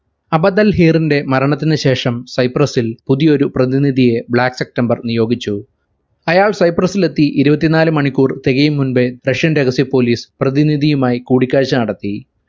അബദൽ ഹീറിന്റെ മരണത്തിനു ശേഷം സൈപ്രസിൽ പുതിയൊരു പ്രതിനിധിയെ black september നിയോഗിച്ചു. അയാൾ സൈപ്രസിൽ എത്തി ഇരുപത്തിനാല് മണിക്കൂർ തികയും മുമ്പേ russian രഹസ്യ police പ്രതിനിധിയുമായ കൂടിക്കാഴ്ച നടത്തി.